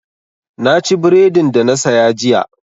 Na ci bredin da na saya jiya.